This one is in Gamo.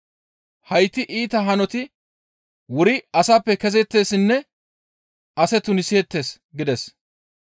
Hayti iita hanoti wuri asappe kezeettessinne ase tuniseettes» gides.